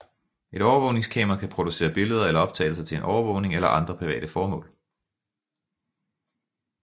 Et overvågningskamera kan producere billeder eller optagelser til overvågning eller andre private formål